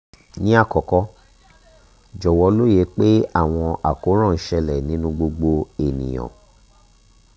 ni akọkọ jọwọ loye pe awọn akoran n ṣẹlẹ ninu gbogbo eniyan